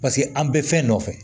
Paseke an bɛ fɛn nɔfɛ